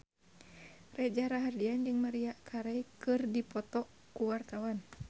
Reza Rahardian jeung Maria Carey keur dipoto ku wartawan